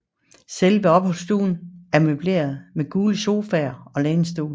Selve opholdsstuen er møbleret med gule sofaer og lænestole